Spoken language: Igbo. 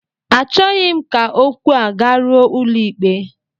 Achọghị m ka okwu a garuo ụlọikpe